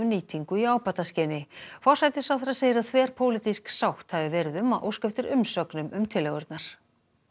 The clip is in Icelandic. nýtingu í ábataskyni forsætisráðherra segir að þverpólitísk sátt hafi verið um að óska eftir umsögnum um tillögurnar